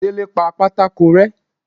délé pá pàtàkó rẹ